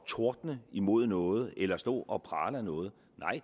tordne imod noget eller stå og prale af noget